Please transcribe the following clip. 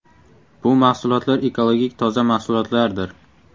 Bu mahsulotlar ekologik toza mahsulotlardir.